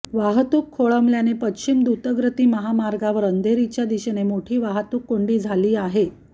वाहतूक खोळंबल्याने पश्चिम द्रुतगती महामार्गावर अंधेरीच्या दिशेने मोठी वाहतूक कोंडी झाली आहे